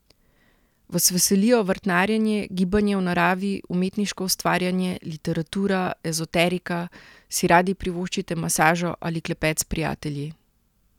Vas veselijo vrtnarjenje, gibanje v naravi, umetniško ustvarjanje, literatura, ezoterika, si radi privoščite masažo ali klepet s prijatelji?